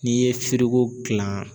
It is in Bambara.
N'i ye gilan.